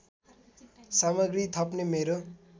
सामग्री थप्ने मेरो